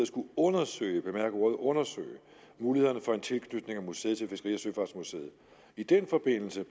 skulle undersøge bemærk ordet undersøge mulighederne for en tilknytning af museet til fiskeri og søfartsmuseet i den forbindelse